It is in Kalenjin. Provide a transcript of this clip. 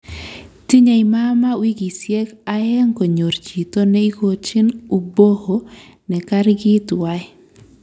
Tinye mamaa wikisyek aeng konyor chito ne igochin uboho ne kargi tuwai